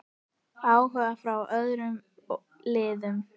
Áhugi frá öðrum liðum?